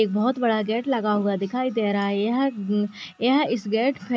एक बहोत बड़ा गेट लगा हुआ दिखाई दे रहा है यह अ यह इस गेट --